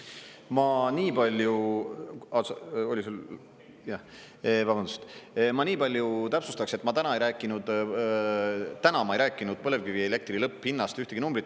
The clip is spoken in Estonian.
Ma nii palju täpsustaks, et ma täna ei rääkinud, täna ma ei rääkinud põlevkivielektri lõpphinnast ühtegi numbrit.